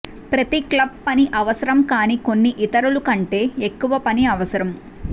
ప్రతి క్లబ్ పని అవసరం కానీ కొన్ని ఇతరులు కంటే ఎక్కువ పని అవసరం